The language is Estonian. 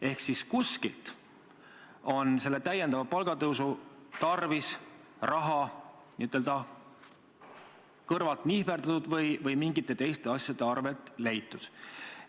Ehk et kuskilt on täiendava palgatõusu tarvis raha n-ö kõrvalt nihverdatud või mingite teiste asjade arvelt leitud.